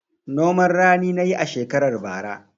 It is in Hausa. Noman rani na yi a shekarar bara.